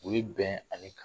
U bɛ bɛn ale kan